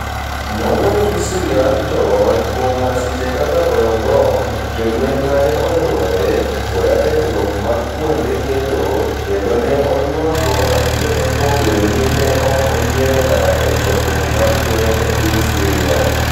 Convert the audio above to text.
Nowuoyo gi SyriaUntold kuom masiche kaka goyo mbom, jolweny ma ne olwore, koda kethruok mag kuonde gedo, kendo ne oywago ang'e kuom bedo ni ne ok oyiero dar a chakruok mar lweny e piny Syria.